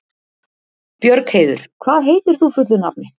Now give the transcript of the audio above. Björgheiður, hvað heitir þú fullu nafni?